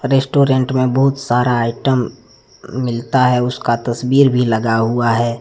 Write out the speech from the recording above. Restaurant में बहुत सारा आइटम मिलता है उसका तस्वीर भी लगा हुआ है।